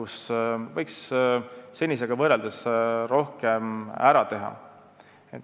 Siin võiks minu arvates senisega võrreldes rohkem ära teha.